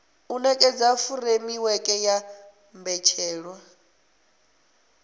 u nekedza furemiweke ya mbetshelwa